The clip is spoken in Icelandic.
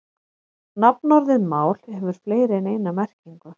Nafnorðið mál hefur fleiri en eina merkingu.